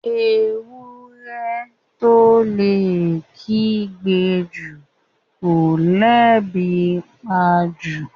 Ewúrẹ́ tó lè kígbe jù kọ́ lebi ńpa jù.